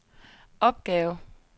opgave